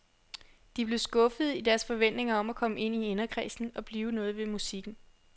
De blev skuffede i deres forventninger om at komme ind i inderkredsen og blive noget ved musikken.